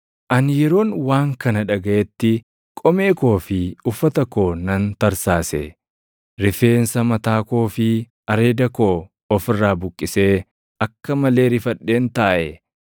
Ani yeroon waan kana dhagaʼetti qomee koo fi uffata koo nan tarsaasee, rifeensa mataa koo fi areeda koo of irraa buqqisee akka malee rifadheen taaʼe.